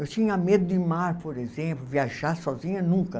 Eu tinha medo de mar, por exemplo, viajar sozinha nunca.